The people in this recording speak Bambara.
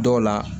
Dɔw la